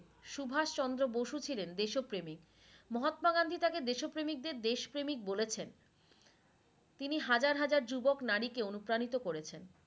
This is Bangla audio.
সুভাষ চন্দ্র বসু ছিলেন দেশ প্রেমিক, মহত্মা গান্ধী তাকে দেশো প্রেমিকদের দেশ প্রেমিক বলেছেন তিনি হাজার হাজার যুবক নারীকে অনুপ্রানিত করেছেন।